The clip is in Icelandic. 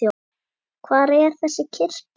Hvar er þessi kirkja?